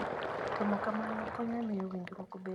Timo kamano konyo e miyo winjruok obed maber e kind ji.